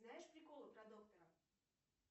знаешь приколы про доктора